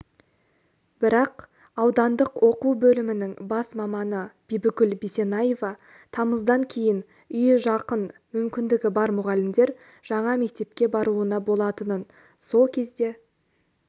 бірақ аудандық оқу бөлімінің бас маманы бибігүл бисенаева тамыздан кейін үйі жақын мүмкіндігі бар мұғалімдер жаңа мектепке баруына болатынын сол кезде